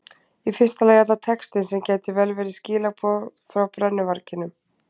Í fyrsta lagi er það texti sem gæti vel verið skilaboð frá brennuvarginum.